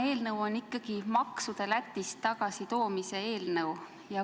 Eelnõu on ikkagi maksude Lätist tagasitoomise eelnõu.